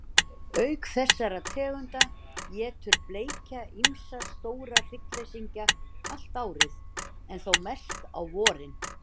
Auk þessara tegunda étur bleikja ýmsa stóra hryggleysingja allt árið, en þó mest á vorin.